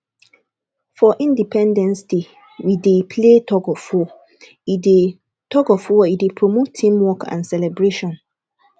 for independence day we dey play tugofwar e dey tugofwar e dey promote teamwork and celebration